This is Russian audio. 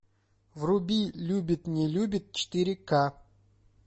вруби любит не любит четыре ка